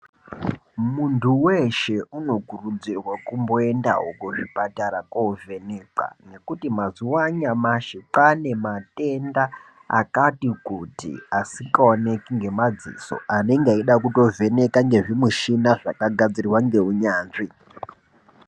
Muntu weshe unokurudzirwa kumboendawo kuzvipatara kovhenekwa ngekuti mazuwa anyamashi kwane matenda akati kuti asikaoneki ngemadziso anenge eida kutovheneka ngezvimushina zvakagadzirwa ngeunyanzvi.